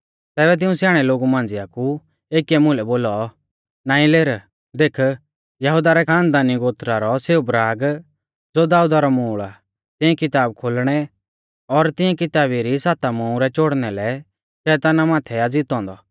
तैबै तिऊं स्याणै लोगु मांझ़िया कु एकीऐ मुलै बोलौ नाईं लेर देख यहुदा रै खानदानी गोत्रा रौ सेऊ बराग ज़ो दाऊदा रौ मूल आ तिऐं किताब खोलणै और तिऐं किताबी री साता मुहरै चोड़णा लै शैताना माथै आ ज़ितौ औन्दौ आ